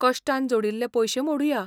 कश्टान जोडिल्लें पयशें मोडुया.